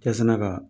Yasana ka